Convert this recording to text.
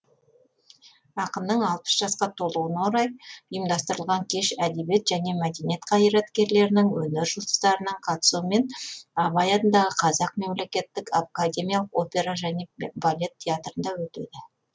ақынның алпыс жасқа толуына орай ұйымдастырылған кеш әдебиет және мәдениет қайраткерлерінің өнер жұлдыздарының қатысуымен абай атындағы қазақ мемлекеттік академиялық опера және балет театрында өтеді